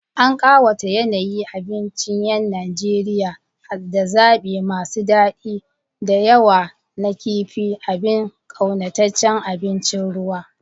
An ƙawata yanayi abincin 'yan Najeriya da zabi masu daɗi da yawa na kifin, abin ƙaunataccen abincin ruwa.